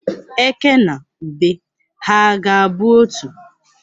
Eke na ube ha ga-abụ otu?